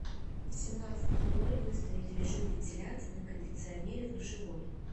в семнадцать ноль ноль выставить режим вентиляции на кондиционере в душевой